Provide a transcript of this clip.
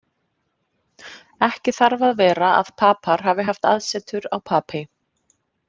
Ekki þarf að vera að Papar hafi haft aðsetur á Papey.